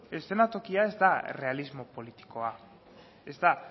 eszenatokia ez da errealismo politikoa ez da